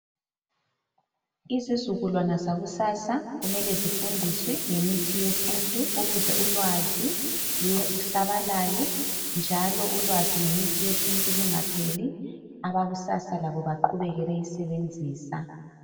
Isizukulwana sakusasa kumele sifundiswe ngemithi yesintu ukuze ulwazi lusabalale njalo ulwazi ngemithi yesintu lungaphelli Abakusasa labo baqhubeke beyisebenzisa